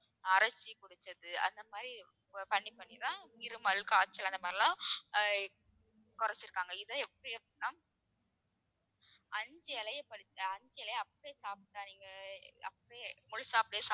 அரைச்சு குடிச்சது அந்த மாதிரி பண்ணி பண்ணிதான் இருமல், காய்ச்சல் அந்த மாதிரி எல்லாம் ஆஹ் குறைச்சிருக்காங்க இதை எப்படி அப்படின்னா அஞ்சு இலையை பறிச்~ அஞ்சு இலையை அப்படியே சாப்பிடாதீங்க அப்படியே முழுசா அப்படியே